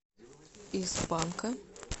из панка